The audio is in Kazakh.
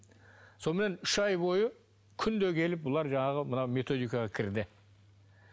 сонымен үш ай бойы күнде келіп бұлар жаңағы мына методикаға кірді